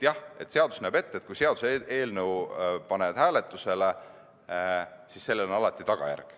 Jah, seadus näeb ette, et kui panna seaduseelnõu hääletusele, siis on sellel alati tagajärg.